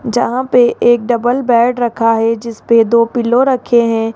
यहां पे एक डबल बेड रखा है जिस पे दो पिलो रखे हैं।